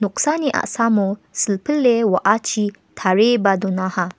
noksani a·samo silpile wa·achi tarieba donaha.